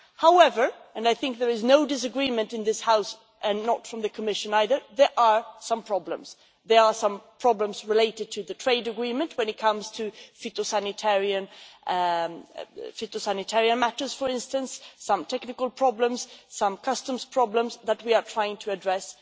However, and I do not think there is any disagreement here in this House, or in the Commission either, there are some problems. There are some problems related to the trade agreement when it comes to phytosanitary matters, for instance, some technical problems and some customs problems that we are trying to address.